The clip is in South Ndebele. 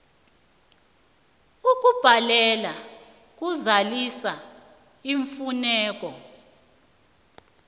ukubhalelwa kuzalisa iimfuneko